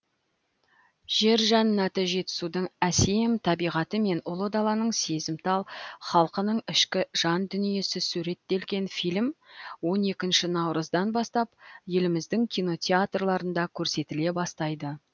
жер жәннаты жетісудың әсем табиғаты мен ұлы даланың сезімтал халқының ішкі жандүниесі суреттелген фильм он екінші наурыздан бастап еліміздің кинотеатрларында көрсетіле бастайды